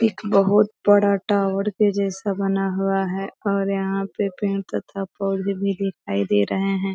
एक बहोत बड़ा टावर के जैसा बना हुआ है और यहां पे पेड़ तथा पोधे भी दिखाई दे रहे हैं |